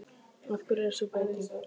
Af hverju er sú breyting?